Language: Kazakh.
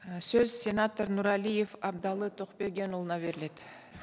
і сөз сенатор нұрәлиев әбдіәлі тоқбергенұлына беріледі